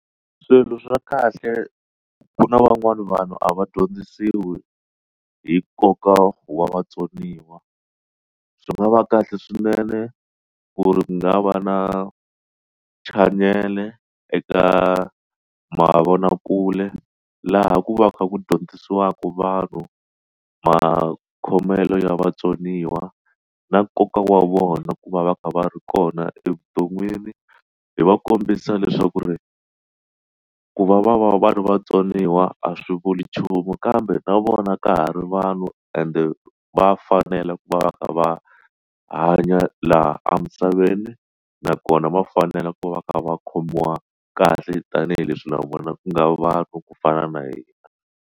Swilo swa kahle ku na van'wani vanhu a va dyondzisiwi hi nkoka wa vatsoniwa swi nga va kahle swinene ku ri nga va na chanele eka mavonakule laha ku va kha ku dyondzisiwaka vanhu makhomelo ya vatsoniwa na nkoka wa vona ku va va kha va ri kona evuton'wini hi va kombisa leswaku ri ku va va va va ri vatsoniwa a swi vuli nchumu kambe na vona ka ha ri vanhu ende va fanela ku va va ka va hanya laha emisaveni nakona va fanela ku va va kha va khomiwa kahle tanihileswi na vona ku nga va ku fana na hina.